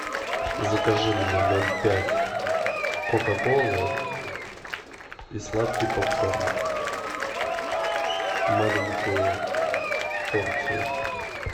закажи мне ноль пять кока колы и сладкий поп корн маленькую порцию